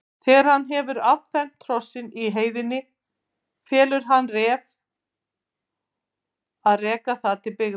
Þegar hann hefur affermt hrossið í heiðinni felur hann Ref að reka það til byggða.